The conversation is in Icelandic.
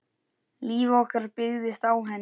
Líf okkar byggist á henni.